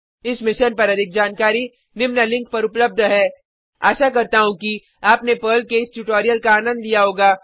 इस मिशन पर अधिक जानकारी निम्न लिंक पर उपलब्ध है आशा करता हूँ कि आपने पर्ल के इस ट्यूटोरियल का आनंद लिया होगा